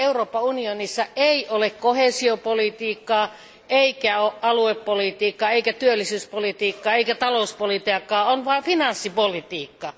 Pian Euroopan unionissa ei ole koheesiopolitiikkaa, eikä aluepolitiikkaa, eikä työllisyyspolitiikkaa, eikä talouspolitiikkaa, on vain finanssipolitiikkaa.